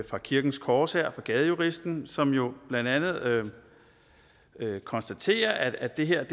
fra kirkens korshær og fra gadejuristen som jo blandt andet konstaterer at det her